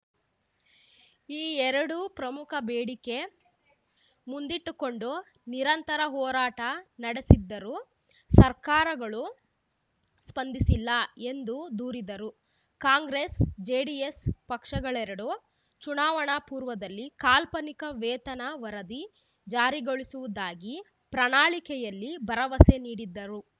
ಈ ಎರಡೂ ಪ್ರಮುಖ ಬೇಡಿಕೆ ಮುಂದಿಟ್ಟುಕೊಂಡು ನಿರಂತರ ಹೋರಾಟ ನಡೆಸಿದ್ದರೂ ಸರ್ಕಾರಗಳು ಸ್ಪಂದಿಸಿಲ್ಲ ಎಂದು ದೂರಿದರು ಕಾಂಗ್ರೆಸ್‌ಜೆಡಿಎಸ್‌ ಪಕ್ಷಗಳೆರೆಡೂ ಚುನಾವಣಾ ಪೂರ್ವದಲ್ಲಿ ಕಾಲ್ಪನಿಕ ವೇತನ ವರದಿ ಜಾರಿಗೊಳಿಸುವುದಾಗಿ ಪ್ರಣಾಳಿಕೆಯಲ್ಲಿ ಭರವಸೆ ನೀಡಿದ್ದರು